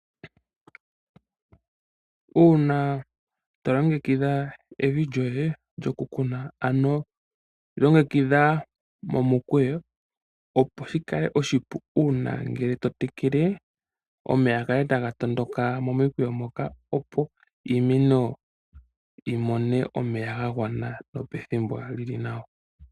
Uuna to longekidha evi lyoye lyokukuna, longekidha momukweyo, opo shi kale oshipu uuna to tekele omeya ga kale taga tondoka momikweyo, opo iimeno yi mone omeya ga gwana nopethimbo li li nawa.